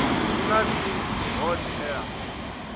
hu na t hod ea